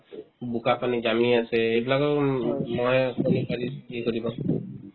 বোকা পানী জামি আছে সেইবিলাকেও উম ম'হে কণী পাৰি সেই কৰিব